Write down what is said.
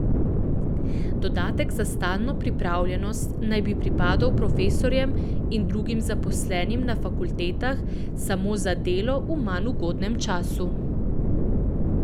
Dodatek za stalno pripravljenost naj bi pripadal profesorjem in drugim zaposlenim na fakultetah samo za delo v manj ugodnem času.